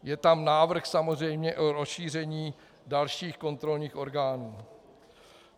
Je tam návrh samozřejmě o rozšíření dalších kontrolních orgánů.